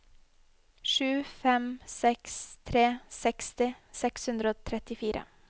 sju fem seks tre seksti seks hundre og trettifire